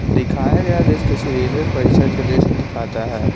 दिखाया गया दृश्य किसी रेलवे परिषद के दृश्य को दिखाता है।